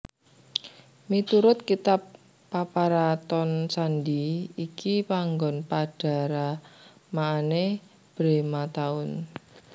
Miturut Kitab Paparaton candhi iki panggon Pandharamaané Bhré Matahun